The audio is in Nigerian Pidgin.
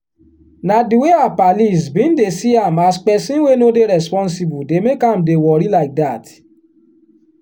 na di way her pallies bin dey see am as peson wey no dey responsible dey make am dey wori like dat.